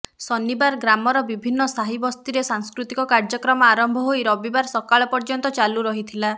ଶନିବାର ଗ୍ରାମର ବିଭିନ୍ନ ସାହି ବସ୍ତିରେ ସାଂସ୍କୃତିକ କାର୍ଯ୍ୟକ୍ରମ ଆରମ୍ଭ ହୋଇ ରବିବାର ସକାଳ ପର୍ଯ୍ୟନ୍ତ ଚାଲୁ ରହିଥିଲା